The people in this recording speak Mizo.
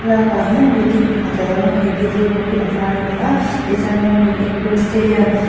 thlalakah hian building pakhat alo lang a he building rawng hi a var a ni a tichuan ramhlun indoor stadium .